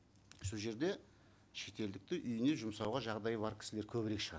сол жерде шетелдікті үйіне жұмсауға жағдайы бар кісілер көбірек шығар